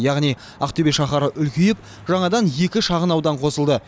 яғни ақтөбе шаһары үлкейіп жаңадан екі шағынаудан қосылды